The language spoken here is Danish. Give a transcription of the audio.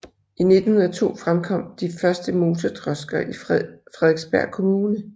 I 1902 fremkom de første motordrosker i Frederiksberg Kommune